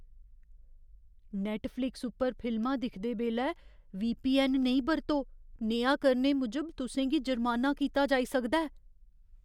Netflix उप्पर फिल्मां दिखदे बेल्लै वीपीऐन्न नेईं बरतो। नेहा करने मूजब तुसें गी जुर्माना कीता जाई सकदा ऐ।